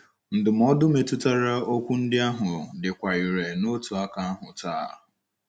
Ndụmọdụ metụtara okwu ndị ahụ dịkwa irè n’otu aka ahụ taa